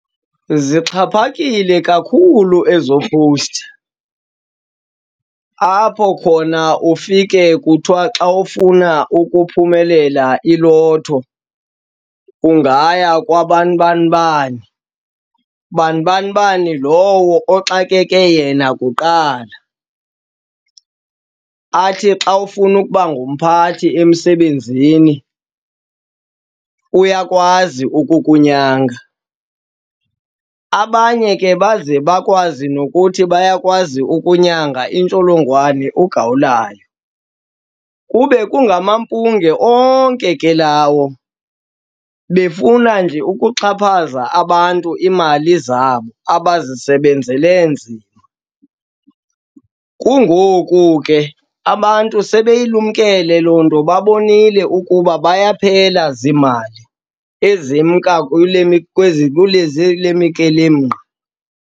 Zixhaphakile kakhulu ezo powusti, apho khona ufike kuthiwa xa ufuna ukuphumelela iLotto ungaya kwabanibanibani, banibanibani lowo oxakeke yena kuqala. Athi xa ufuna ukuba ngumphathi emsebenzini, uyakwazi ukukunyanga. Abanye ke baze bakwazi nokuthi bayakwazi ukunyanga intsholongwane ugawulayo kube kungamampunge onke ke lawo, befuna nje ukuxhaphaza abantu iimali zabo abazisebenzele nzima. Kungoku ke abantu sebeyilumkele loo nto, babonile ukuba buyaphela ziimali ezimka kule kule mikelemqa.